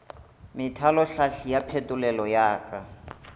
methalohlahli ya phetolelo ya ka